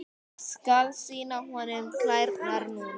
Skal sýna honum klærnar núna.